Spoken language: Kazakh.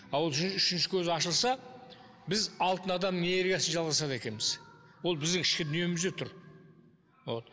ал ашылса біз алтын адам энергиясын жалғастырады екенбіз ол біздің ішкі дүниемізде тұр вот